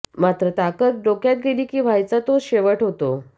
मात्र ताकद डोक्यात गेली की व्हायचा तोच शेवट होतो